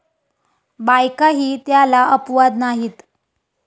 बायकाही त्याला अपवाद नाहीत.